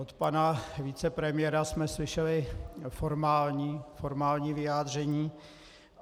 Od pana vicepremiéra jsme slyšeli formální vyjádření.